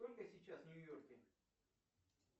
сколько сейчас в нью йорке